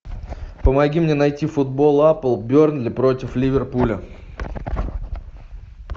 помоги мне найти футбол апл бернли против ливерпуля